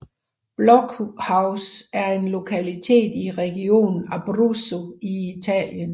Blockhaus er en lokalitet i regionen Abruzzo i Italien